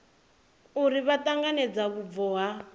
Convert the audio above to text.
uri vha ṱanganedza vhubvo ha